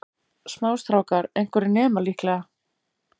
Smástrákar, einhverjir nemar líklega.